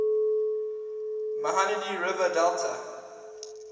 mahanadi river delta